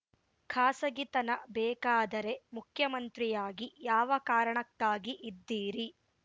ಖಾಸಗಿತನ ಬೇಕಾದರೆ ಮುಖ್ಯಮಂತ್ರಿಯಾಗಿ ಯಾವ ಕಾರಣಕ್ಕಾಗಿ ಇದ್ದೀರಿ